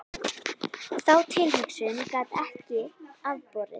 Þá tilhugsun gat ég ekki afborið.